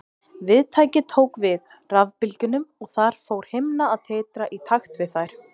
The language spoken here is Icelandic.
Viðtækið tók við rafbylgjunum og þar fór himna að titra í takt við þær.